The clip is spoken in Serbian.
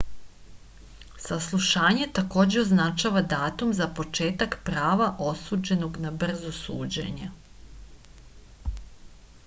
saslušanje takođe označava datum za početak prava osumnjičenog na brzo suđenje